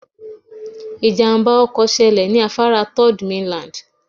Ìjàmbá ọkọ̀ ṣẹlẹ̀ ní afárá Third mainland